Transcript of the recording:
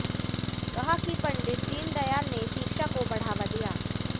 कहा कि पंडित दीनदयाल ने शिक्षा को बढ़ावा दिया